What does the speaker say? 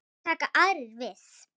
Síðan taka aðrir við.